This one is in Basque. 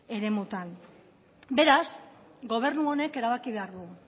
eremuetan beraz gobernu honek erabaki behar du